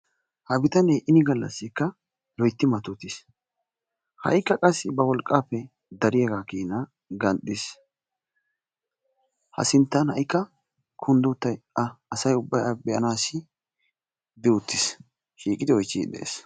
Ha bitanee ini galassikka loytti matotiis. Ha'ikka qassi ba wolqqappe dariyaagakeena ganxxiis. Ha sinttan haykka kunddi uttay a asay ubbay a be'anaassi shiiqi uttiis.